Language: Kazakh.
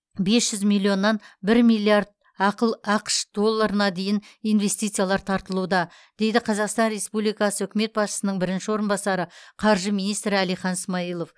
бес жүз миллионнан бір миллиард ақыл ақш долларына дейін инвестициялар тартылуда дейді қазақстан республикасы үкімет басшысының бірінші орынбасары қаржы министрі әлихан смайылов